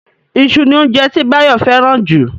Iṣu ni óunjẹ tí Báyọ̀ fẹ́ràn jù